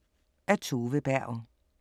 Af Tove Berg